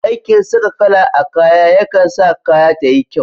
Aikin saka kala a kaya yakan sa kaya tayi kyau.